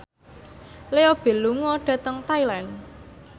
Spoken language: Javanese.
Leo Bill lunga dhateng Thailand